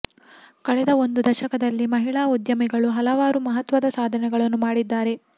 ಕಳೆದ ಒಂದು ದಶಕದಲ್ಲಿ ಮಹಿಳಾ ಉದ್ಯಮಿಗಳು ಹಲವಾರು ಮಹತ್ವದ ಸಾಧನೆಗಳನ್ನು ಮಾಡಿದ್ದಾರೆ